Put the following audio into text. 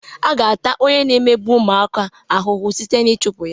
A ga-ata onye na-emegbu ụmụaka ahụhụ sịte na ịchụpụ ya.